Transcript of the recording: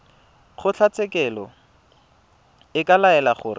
kgotlatshekelo e ka laela gore